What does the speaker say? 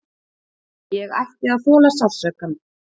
Ég ætti að þola sársaukann.